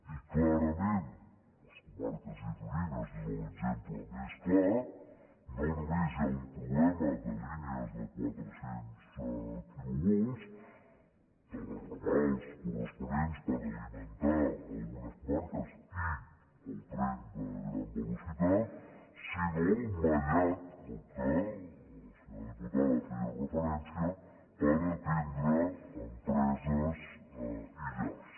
i clarament les comarques gironines és l’exemple més clar no només hi ha un problema de línies de quatre cents quilovolts dels ramals corresponents per alimentar algunes comarques i el tren de gran velocitat sinó el mallat a què la senyora diputada feia referència per atendre empreses i llars